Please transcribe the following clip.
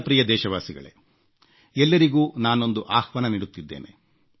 ನನ್ನ ಪ್ರಿಯ ದೇಶವಾಸಿಗಳೇ ಎಲ್ಲರಿಗೂ ನಾನೊಂದು ಆಹ್ವಾನ ನೀಡುತ್ತಿದ್ದೇನೆ